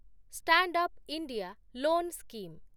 stand up India loan scheme